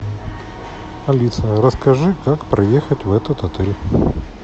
алиса расскажи как проехать в этот отель